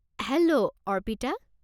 Hello, Arpita.